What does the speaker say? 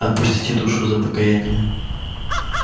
отпустите душу за покаяние